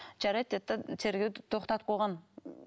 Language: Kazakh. жарайды деді де тергеуді тоқтатып қойған